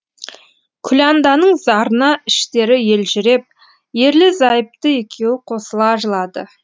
күләнданың зарына іштері елжіреп ерлі зайыпты екеуі қосыла жылады